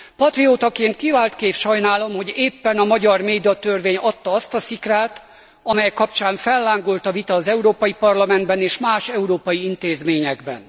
Patriótaként kiváltképp sajnálom, hogy éppen a magyar médiatörvény adta azt a szikrát, amely kapcsán fellángolt a vita az Európai Parlamentben és más európai intézményekben.